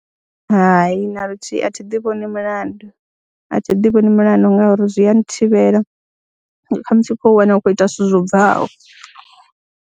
Hai, na luthihi a thi ḓi vhoni mulandu, a thi ḓi vhoni mulandu ngauri zwi a nthivhela kha musi u khou wana u khou ita zwithu zwo bvaho.